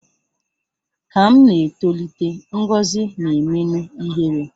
Ka m na-etolite, Ngọzi na-emenụ ihere